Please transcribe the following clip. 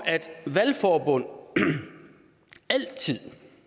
valgforbund altid